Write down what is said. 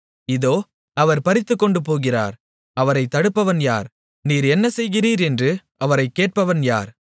இதோ அவர் பறித்துக்கொண்டுபோகிறார் அவரை தடுப்பவன் யார் நீர் என்ன செய்கிறீர் என்று அவரைக் கேட்பவன் யார்